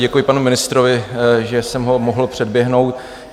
Děkuji panu ministrovi, že jsem ho mohl předběhnout.